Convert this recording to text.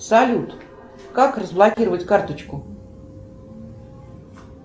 салют как разблокировать карточку